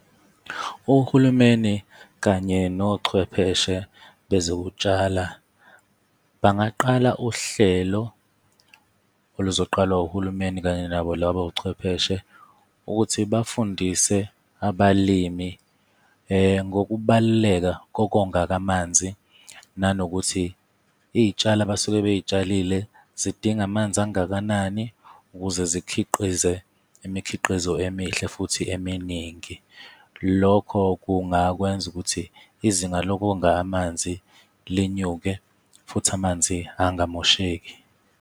Uhulumeni kanye nochwepheshe bezokutshala, bangaqala uhlelo oluzoqalwa uhulumeni kanye nabo labochwepheshe ukuthi bafundise abalimi ngokubaluleka kokonga kamanzi, nanokuthi iy'tshalo abasuke bey'tshalile zidinga amanzi kangakanani ukuze zikhiqize imikhiqizo emihle futhi eminingi. Lokho kungakwenza ukuthi izinga lokonga amanzi linyuke futhi amanzi angamosheki.